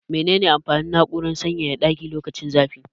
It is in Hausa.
Mene ne amfanin na'urar sanyaya ɗaki lokacin zafi?